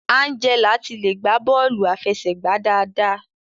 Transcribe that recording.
Angela ti le gba bọọlu afẹsẹgba dáadáa.